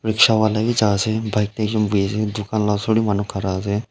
rikshaw wala b jai ase bike de ekh bui ase dukan la osor de manu ghara ase.